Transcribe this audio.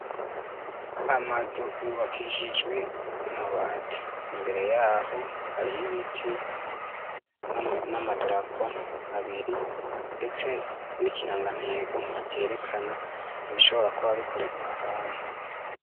Amazu yubakishijwe n'amabati. Imbere y'aho har'ibiti n'amadarapo abiri, ndetse n'ikirangantego cerekana ibishobora kuba bikorera ahantu.